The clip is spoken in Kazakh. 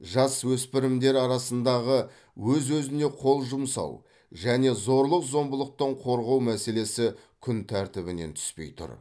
жасөспірімдер арасындағы өз өзіне қол жұмсау және зорлық зомбылықтан қорғау мәселесі күн тәртібінен түспей тұр